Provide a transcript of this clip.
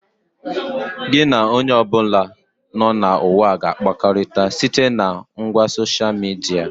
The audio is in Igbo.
Gị na onye ọbụla nọ na ụwa ga-akpakọrịta site na ngwa soshia midia